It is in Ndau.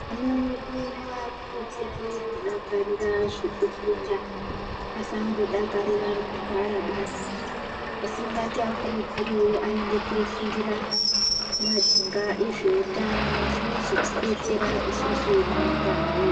Ana edu ngaakurudzirwe kudakarira zvekufunda asangodakarira kugara basi. Asi ngativakurudzire aende koofundira mumajinga ezveutano zvinozotidetsera isusu neramangwana redu.